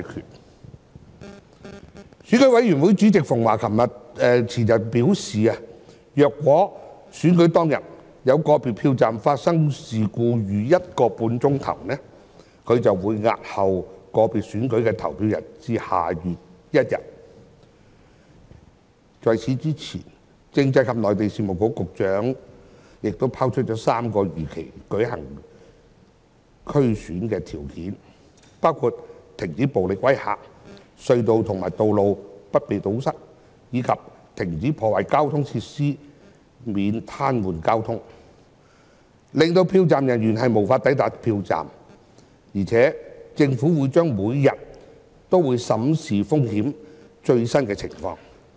選舉管理委員會主席馮驊前天表示，如果選舉當天有個別票站發生事故逾一個半小時，他便會押後個別選區的投票至下月1日，在此之前，政制及內地事務局局長亦拋出3項如期舉行區議會選舉的條件，包括停止暴力威嚇、隧道和道路不被堵塞，以及停止破壞交通設施及癱瘓交通，令票站人員無法抵達票站，而且政府將會每天審視風險及最新的情況。